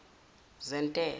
zentela